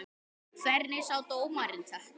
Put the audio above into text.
Hvernig sá dómarinn þetta?